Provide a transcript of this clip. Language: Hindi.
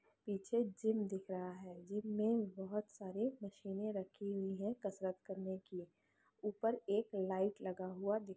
पीछे जिम दिख रहा हैं जिम मे बहुत सारी मसिने रखी हुई हैं कसरत करने की ऊपर एक लाइट लगा हुआ दिख--